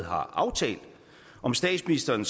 har aftalt om statsministeren